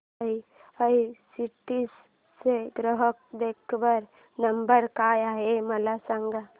IRCTC चा ग्राहक देखभाल नंबर काय आहे मला सांग